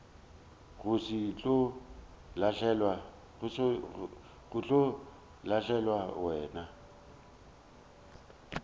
go se tlo lahlelwa wena